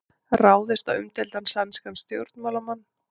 Ráðist á umdeildan sænskan stjórnmálamann